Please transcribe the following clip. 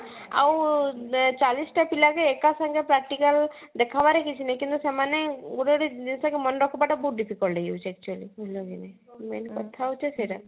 ଆଉ ଚାଳିଶ ଟା ପିଲା ଏକା ସାଙ୍ଗେ practical ଦେଖାବାରେ କିଛି ନାଇଁ କିନ୍ତୁ ସେମାନେ ଗୋଟେ ଗୋଟେ ଜିନିଷ ମନେ ରଖିବା ଟା ବହୁତ difficult ହେଇ ଯାଉଛି actually ବୁଝିଲ କି ନାଇଁ main କଥା ହଉଛି ସେଇଟା